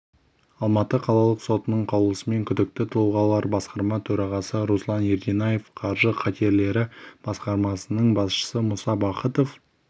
алматы қалалық сотының қаулысымен күдікті тұлғалар басқарма төрағасы руслан ерденаев қаржы қатерлері басқармасының басшысы мұса бахытов